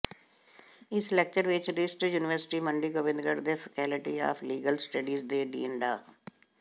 ਇਸ ਲੈਕਚਰ ਵਿੱਚ RIMT university Mandi Gobindgarh ਦੇ ਫਕੈਲਟੀ ਆਫ਼ ਲੀਗਲ ਸਟੱਡੀਜ਼ ਦੇ ਡੀਨ ਡਾ